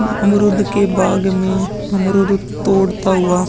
अमरुद के बाग़ में अमरुद तोड़ता हुआ --